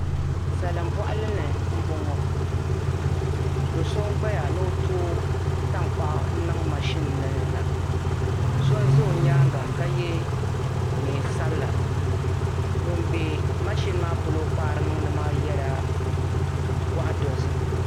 Salim bɔɣali li m boŋɔ do so n gbaya ni o tooi tankpaɣu niŋ mashini la so n za o nyaaga ka ye neen sabila ŋun be mashini maa kpaari niŋdi maa ye gɔɣa dozim